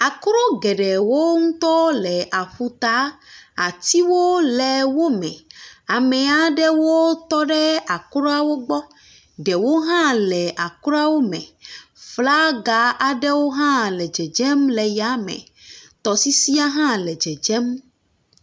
Akro geɖewo ŋutɔ le aƒuta. Atiwo le wo me ame aɖewo tɔ ɖe akrɔa wogbɔ, ɖewo hã le akrɔa me. Flaga aɖe hã le dzedzem le ya me. Tɔ sisia hã le dzedzem.